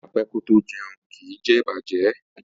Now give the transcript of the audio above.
Apẹ ko jeun, ki je ibajẹ.